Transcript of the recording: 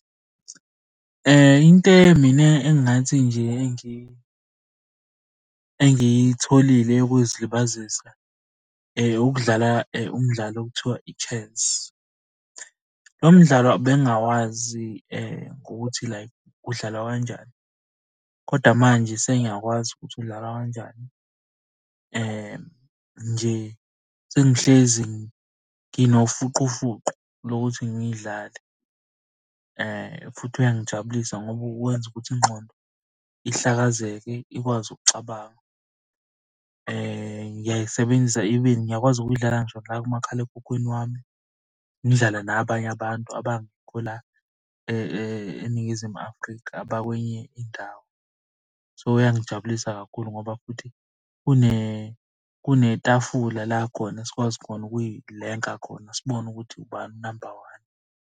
Into mina engingathi nje engiyitholile yokuzilibazisa, ukudlala umdlalo okuthiwa i-chess. Lo mdlalo bengingawazi gokuthi like udlalwa kanjani, koda manje sengiyakwazi ukuthi udlalwa kanjani. Nje sengihlezi nginofuqufuqu lokuthi ngiyidlale, futhi uyangijabulisa ngoba wenza ukuthi ingqondo ihlakazeke ikwazi ukucabanga. Ngiyayisebenzisa even ngiyakwazi ukuyidlala ngisho la kumakhalekhukhwini wami. Ngidlale nabanye abantu abangekho la eNingizimu Afrika abakwenye indawo. So iyangijabulisa kakhulu ngoba futhi kunetafula la khona sikwazi khona ukuy'lenka khona sibone ukuthi ubani unamba one.